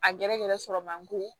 A gɛrɛ gɛrɛ sɔrɔ mandi